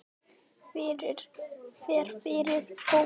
Fer fyrir hóp.